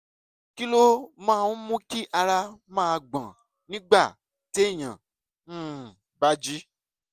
kí ló máa ń mú kí ara máa gbọ̀n nígbà téèyàn um bá jí?